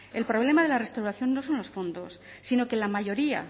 el problema de la restauración no son los fondos sino que la mayoría